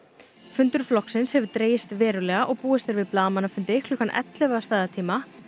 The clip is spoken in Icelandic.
fundur flokksins hefur dregist verulega og búist er við blaðamannafundi klukkan ellefu að staðartíma